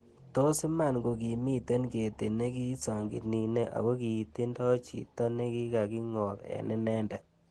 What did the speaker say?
Tos' imaan kogii miten ketit nekiisaang'iniine ag'oo kiitindo chiito nekigaki ng'oob eng' inendet